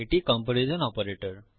এটি তুলনা comparison operator